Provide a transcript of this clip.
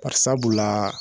Barisabulaa